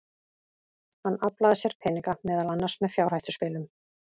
Hann aflaði sér peninga, meðal annars með fjárhættuspilum.